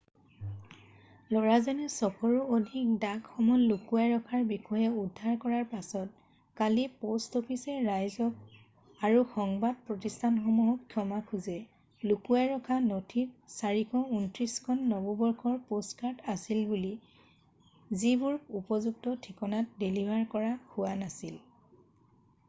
ল'ৰাজনে 600ৰো অধিক ডাক সমল লুকুৱাই ৰখাৰ বিষয়ে উদ্ধাৰ কৰাৰ পাছতে কালি প'ষ্ট অফিচে ৰাইজক আৰু সংবাদ প্ৰতিষ্ঠানসমূহক ক্ষমা খোজে লুকুৱাই ৰখা নথিত 429 খন নৱবৰ্ষৰ প'ষ্টকাৰ্ড আছিল যিবোৰ উপযুক্ত ঠিকনাত ডেলিভাৰ কৰা হোৱা নাছিল